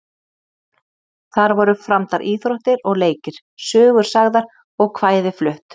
Þar voru framdar íþróttir og leikir, sögur sagðar og kvæði flutt.